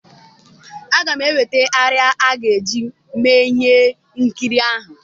Aga m eweta arịa a ga-eje mee ihe nkiri ahụ.